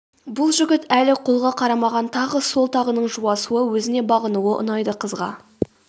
бұл жігіт әлі қолға қарамаған тағы сол тағының жуасуы өзіне бағынуы ұнайды қызға